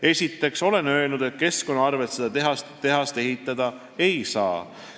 Esiteks olen öelnud, et keskkonna arvel seda tehast ehitada ei saa.